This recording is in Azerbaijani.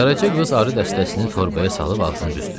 Qaraca qız arı dəstəsini torbaya salıb ağzını büzdü.